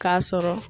K'a sɔrɔ